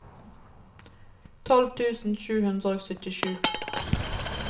tolv tusen sju hundre og syttisju